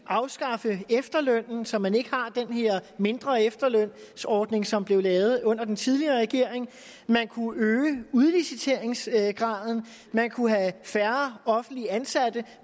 afskaffe efterlønnen så man ikke har den her mindre efterlønsordning som blev lavet under den tidligere regering man kunne øge udliciteringsgraden man kunne have færre offentligt ansatte